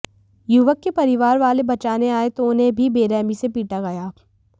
युवक के परिवारवाले बचाने आए तो उन्हें भी बेरहमी से पीटा गया